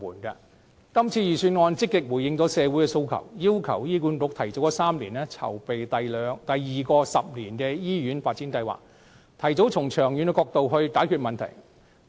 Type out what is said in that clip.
今次預算案積極回應社會訴求，要求醫院管理局提早3年籌備第二個十年的醫院發展計劃，提早從長遠角度解決問題。